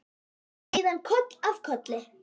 Og síðan koll af kolli.